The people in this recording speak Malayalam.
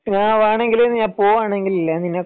ഞാൻ എടെയെങ്കിലും പോകണെങ്കിൽ ഇല്ലേ നിന്നെ